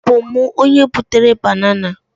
ọ bu mu, onye butere banana.